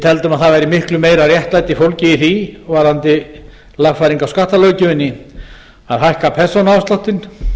teldum að það væri miklu meira réttlæti fólgið í því varðandi lagfæringu á skattalöggjöfinni að hækka persónuafsláttinn